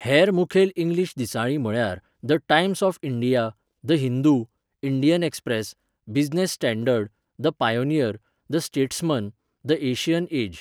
हेर मुखेल इंग्लीश दिसाळीं म्हळ्यार the Times of India, the Hindu, Indian Express, Business Standard, the Pioneer, the Statesman, the Asian as.